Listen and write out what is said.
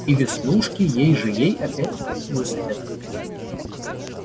и веснушки ей же ей опять высыпят